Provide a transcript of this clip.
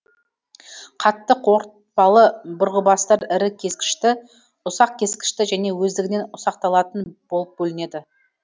қатты қорытпалы бұрғыбастар ірі кескішті ұсақ кескішті және өздігінен ұсақталатын болып бөлінеді